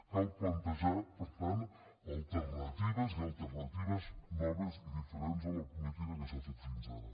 cal plantejar per tant alternatives i alternatives noves i diferents de la política que s’ha fet fins ara